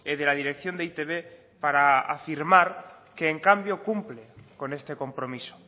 de la dirección de e i te be para afirmar que en cambio cumple con este compromiso